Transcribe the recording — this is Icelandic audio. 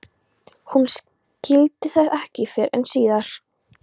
Hún skildi það ekki fyrr en síðar.